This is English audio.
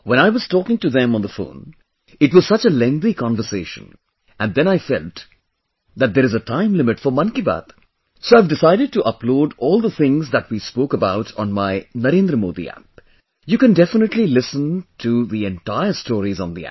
When I was talking to them on the phone, it was such a lengthy conversation and then I felt that there is a time limit for 'Mann Ki Baat', so I've decided to upload all the things that we spoke about on my NarendraModiAppyou can definitely listen the entire stories on the app